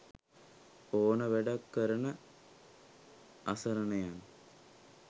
ඕන වැඩක් කරන අසරණයන්